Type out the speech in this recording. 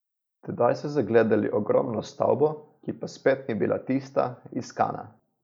Tedaj so zagledali ogromno stavbo, ki pa spet ni bila tista, iskana.